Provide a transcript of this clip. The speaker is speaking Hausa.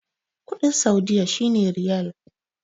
kudin saudiyya shi ne riyal